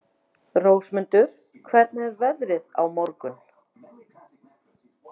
Rósmundur, hvernig er veðrið á morgun?